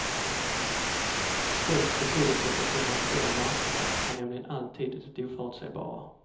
Störst betydelse för finansiella marknader har nämligen alltid det oförutsägbara.